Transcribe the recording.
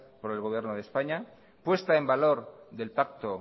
por el gobierno de españa puesta en valor del pacto